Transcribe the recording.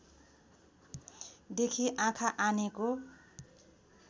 देखि आँखा आनेको